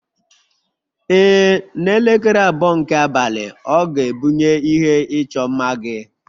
Ee, n'elekere abụọ nke abalị, ọ ga-ebunye ihe ịchọ mma gị